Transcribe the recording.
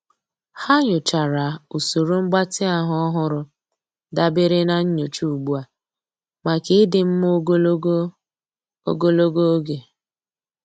Há nyòchàrà usoro mgbatị ahụ́ ọ́hụ́rụ́ dabere na nyocha ugbu a màkà ịdị mma ogologo ogologo oge.